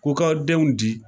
Ko k'aw denw di